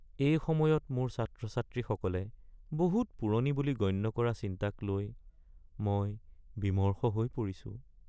এই সময়ত মোৰ ছাত্ৰ-ছাত্ৰীসকলে বহুত পুৰণি বুলি গণ্য কৰা চিন্তাক লৈ মই বিমৰ্ষ হৈ পৰিছোঁ।